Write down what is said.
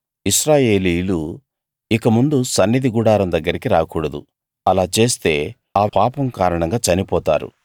ఇశ్రాయేలీయులు ఇకముందు సన్నిధి గుడారం దగ్గరికి రాకూడదు అలా చేస్తే ఆ పాపం కారణంగా చనిపోతారు